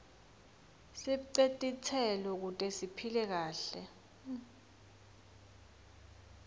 sibce titselo kute siphile kahle